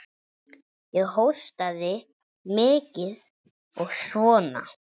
Ég hóstaði mikið og svona.